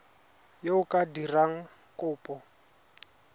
yo o ka dirang kopo